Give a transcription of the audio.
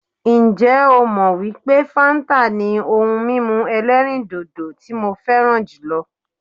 Ǹjẹ́ ó mọ wípé fáńtà ni ohun mímu ẹ̀lẹ́rìndodò tí mo fẹràn jùlọ?